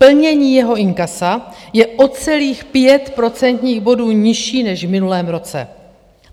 Plnění jeho inkasa je o celých 5 procentních bodů nižší než v minulém roce.